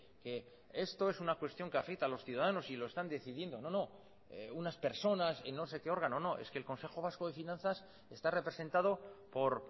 que esto es una cuestión que afecta a los ciudadanos y lo están decidiendo no no unas personas y no sé qué órgano no es que el consejo vasco de finanzas está representado por